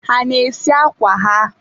ha ana-esi akwa ha?